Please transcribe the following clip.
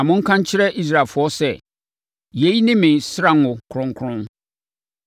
Na monka nkyerɛ Israelfoɔ sɛ, ‘Yei ne me srango kronkron.